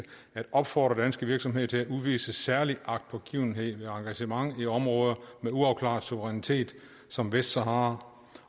at opfordre danske virksomheder til at udvise særlig agtpågivenhed ved engagement i områder med uafklaret suverænitet som vestsahara